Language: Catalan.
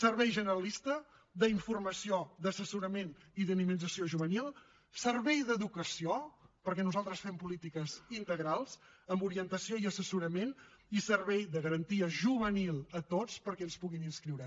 servei generalista d’informació d’assessorament i de dinamització juvenil servei d’educació perquè nosaltres fem polítiques integrals amb orientació i assessorament i servei de garantia juvenil a tots perquè s’hi puguin inscriure